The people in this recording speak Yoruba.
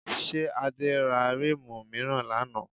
Ṣé Adé ra ríìmù mìíràn lánàá?